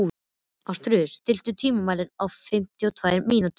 Ástfríður, stilltu tímamælinn á fimmtíu og tvær mínútur.